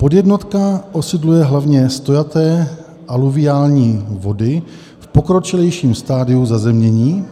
Podjednotka osídluje hlavně stojaté aluviální vody v pokročilejším stadiu zazemnění,